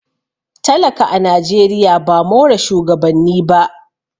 talaka a najeriya ba more shugabanni ba